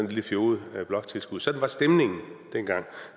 lille fjoget bloktilskud sådan var stemningen dengang